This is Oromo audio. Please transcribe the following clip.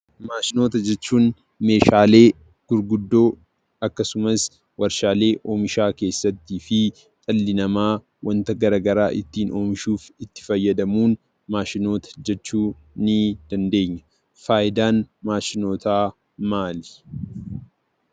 Maashinoota jechuun meeshaalee gurguddoo akkasumas waarshaalee oomishaa keessatti fi dhalli namaa waanta garaa garaa ittiin oomishuuf itti fayyadamuun maashinoota jechuu ni dandeenya. Faayidaan maashinootaa maali?